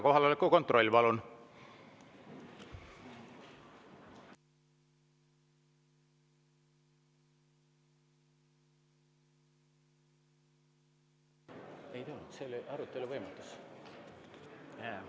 Kohaloleku kontroll, palun!